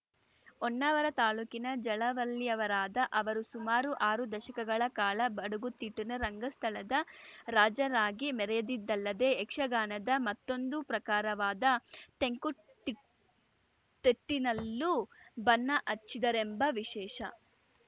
ಹೊನ್ನಾವರ ತಾಲೂಕಿನ ಜಲವಳ್ಳಿಯವರಾದ ಅವರು ಸುಮಾರು ಆರು ದಶಕಗಳ ಕಾಲ ಬಡಗುತಿಟ್ಟಿನ ರಂಗಸ್ಥಳದ ರಾಜರಾಗಿ ಮೆರೆದಿದ್ದಲ್ಲದೇ ಯಕ್ಷಗಾನದ ಮತ್ತೊಂದು ಪ್ರಕಾರವಾದ ತೆಂಕುತಿಟ್ಟ್ ತಿಟ್ಟಿನಲ್ಲೂ ಬಣ್ಣ ಹಚ್ಚಿದ್ದರೆಂಬ ವಿಶೇಷ